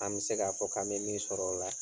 Am se k'a fɔ k'an bɛ min sɔr'ɔ la